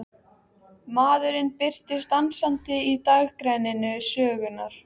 Maðurinn birtist dansandi í dagrenningu sögunnar.